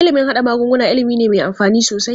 Ilimin haɗa magunguna ilimi ne me amfani sosai.